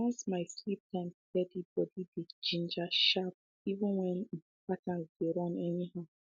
once my sleep time steady body dey ginger sharp even when um patterns dey run anyhow